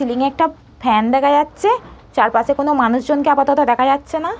Ceiling একটা fan দেখা যাচ্ছে চারপাশে কোনো মানুষজনকে আপাতত দেখা যাচ্ছে না।